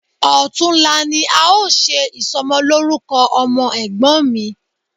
Ọ̀tunla ni a ó ṣe ìsọmọlórúkọ ọmọ Ẹ̀gbọ́n mi